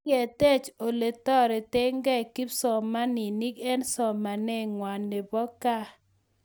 Kiketech oletoretekei kipsomaninik eng somanet ngwai nebo gaa